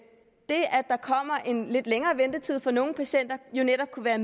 det at en lidt længere ventetid for nogle patienter jo netop kunne være